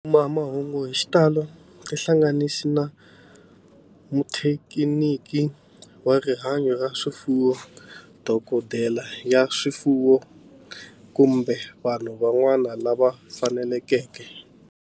Ku kuma mahungu hi xitalo tihlanganisi na muthekiniki wa rihanyo ra swifuwo, dokodela ya swifuwo, kumbe vanhu van'wana lava fanelekeke.